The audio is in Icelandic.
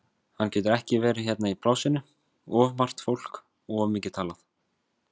Hann getur ekki verið hérna í plássinu, of margt fólk og of mikið talað.